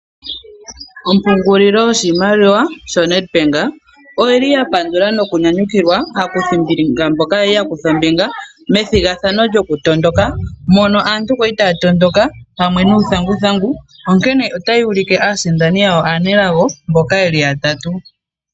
Ompungulilo yoshimaliwa yaNedbank oyili ya pandula nokunyanyukilwa aakuthimbinga mboka yali yakutha ombinga methigathano lyokutondoka nuuthanguthangu onkene otayi ulike aasindani yawo aanelago mboka yeli yatatu.